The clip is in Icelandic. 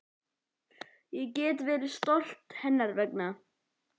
Ég get verið stolt hennar vegna.